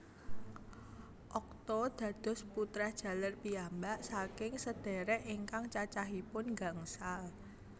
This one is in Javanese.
Okto dados putra jaler piyambak saking sedhérék ingkang cacahipun gangsal